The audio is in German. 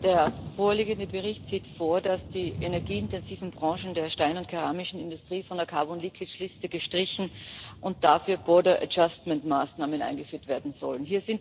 Der vorliegende Bericht sieht vor, dass die energieintensiven Branchen der Stein und keramischen Industrie von der Liste gestrichen und dafür Maßnahmen eingeführt werden sollen.